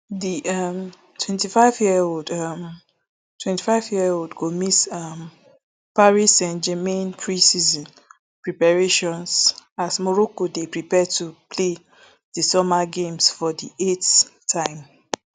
di um twenty-five year old um twenty-five year old go miss um paris stgermain preseason preparations as morocco dey prepare to play di summer games for di eighth time